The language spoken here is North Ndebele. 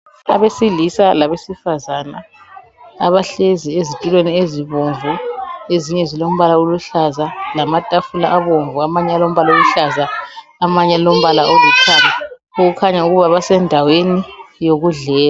Abesilisa labesifazana abahlezi ezitulweni ezibomvu ezinye zilombala oluhlaza, lamatafula abomvu amanye alombala oluhlaza, amanye alombala olithanga, okukhanya okuba basendaweni yokudlela.